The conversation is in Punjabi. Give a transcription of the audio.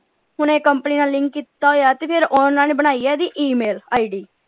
ਹੁਣ ਇਹ ਕੰਪਨੀ ਨਾਲ ਲਿੰਕ ਕੀਤਾ ਹੋਇਆ ਤੇ ਫਿਰ ਹੁਣ ਓਹਨਾ ਨੇ ਬਣਾਈ ਆ ਇਹਦੀ E ਮੇਲ ID.